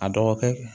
A dɔgɔkɛ